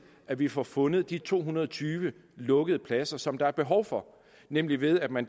at vi får fundet de to hundrede og tyve lukkede pladser som der er behov for nemlig ved at man